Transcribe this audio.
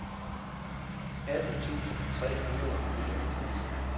atten tusind tre hundrede og nioghalvtreds